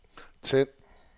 tænd